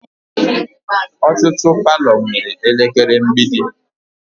Ọtụtụ palọ nwere elekere mgbidi